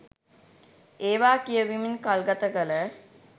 ඒවා කියවමින් කල්ගත කළ